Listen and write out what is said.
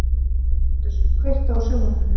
Kaktus, kveiktu á sjónvarpinu.